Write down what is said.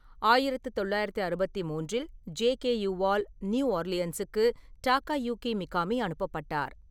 ஆயிரத்து தொள்ளாயிரத்து அறுபத்து மூன்றில் ஜேகேயூவால் நியூ ஓர்லியன்ஸுக்கு டகா யுகி மிகாமி அனுப்பப்பட்டார்.